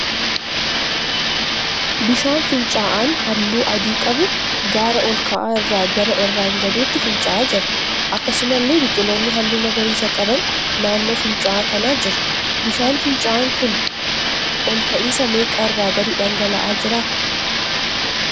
Bishaan fincaa'aan halluu adii qabu gaara ol ka'aa irraa gara irraan gadeetti fincaa'aa jira. Akkasumallee biqiloonni halluu magariisaa qaban naannoo fincaa'aa kana jiru. Bishaan fincaa'aan kun ol ka'iinsa meeqa irraa gadi dhangala'aa jira?